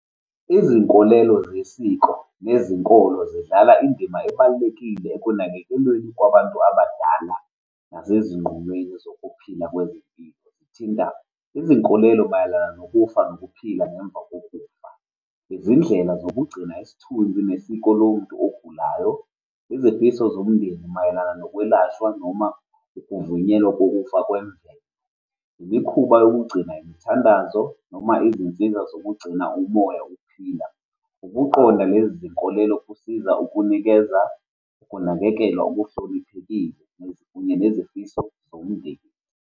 Izinkolelo zesiko nezinkolo zidlala indima ebalulekile ekunakekelweni kwabantu abadala nasezinqumweni zokuphila . Zithinta izinkolelo mayelana nokufa nokuphila ngemva kokufa, izindlela zokugcina isithunzi nesiko lomuntu ogulayo, izifiso zomndeni mayelana nokwelashwa noma ukuvunyelwa kokufa kwemvelo, imikhuba yokugcina imithandazo, noma izinsiza zokugcina umoya uphila. Ukuqonda lezi zinkolelo kusiza ukunikeza, ukunakekelwa oluhloniphekile nezinye zezifiso zomndeni.